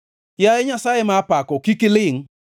Yaye Nyasaye ma apako, kik ilingʼ,